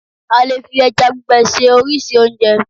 a lè fi eja gbigbe se oríṣi onje